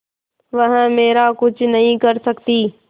वह मेरा कुछ नहीं कर सकती